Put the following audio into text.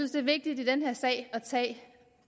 er vigtigt i den her sag at tage